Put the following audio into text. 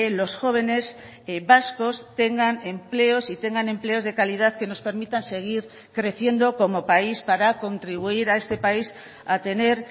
los jóvenes vascos tengan empleos y tengan empleos de calidad que nos permitan seguir creciendo como país para contribuir a este país a tener